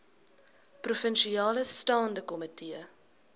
provinsiale staande komitee